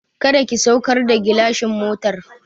Kada ki saukar da gilashin motar!